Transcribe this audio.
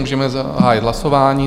Můžeme zahájit hlasování.